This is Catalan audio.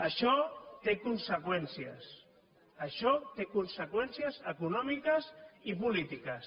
això té conseqüències això té conseqüències econòmiques i polítiques